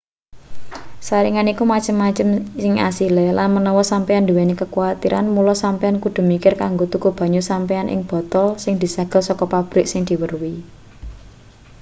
saringan iku macem-macem ing asile lan menawa sampeyan duweni kekuwatiran mula sampeyan kudu mikir kanggo tuku banyu sampeyan ing botol sing disegel saka pabrik sing diweruhi